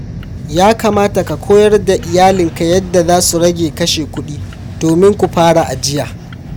Ya kamata ka koyar da iyalinka yadda za su rage kashe kuɗi domin ku fara ajiya.